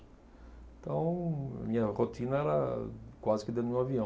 Então, minha rotina era quase que dentro de um avião.